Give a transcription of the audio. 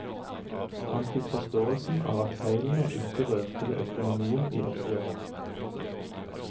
Han fikk forståelsen av at feilene ikke rørte ved økonomien i oppgjøret.